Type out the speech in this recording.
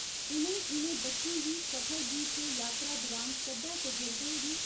उ'नें इनें बच्चे गी सफर गी ते यात्रा दुरान सब्बै तजुर्बें गी